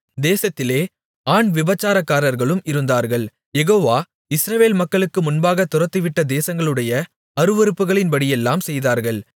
தேசத்திலே ஆண் விபசாரக்காரர்களும் இருந்தார்கள் யெகோவா இஸ்ரவேல் மக்களுக்கு முன்பாகத் துரத்திவிட்ட தேசங்களுடைய அருவருப்புகளின்படியெல்லாம் செய்தார்கள்